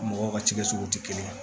Mɔgɔw ka cikɛsuguw tɛ kelen ye